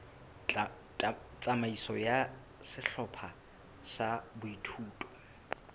tsamaiso ya sehlopha sa boithuto